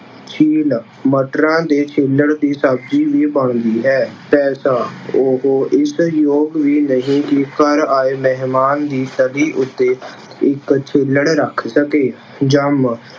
ਛਿੱਲ- ਮਟਰਾਂ ਦੇ ਛਿੱਲੜ ਦੀ ਸ਼ਬਜ਼ੀ ਵੀ ਬਣਦੀ ਹੈ। ਪੈਸਾ- ਉਹ ਇਸ ਯੋਗ ਵੀ ਨਹੀਂ ਕਿ ਘਰ ਆਏ ਮਹਿਮਾਨ ਦੀ ਛਵੀ ਉੱਤੇ ਇੱਕ ਛਿੱਲੜ ਰੱਖ ਸਕੇ। ਜੰਮ-